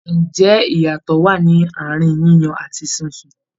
Ǹjẹ́ iyatọ wa ní àárín yíyan àti sísun?